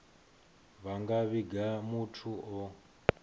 vha nga vhiga muthu o